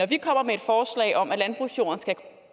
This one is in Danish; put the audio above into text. vi kommer med et forslag om at landbrugsjorden skal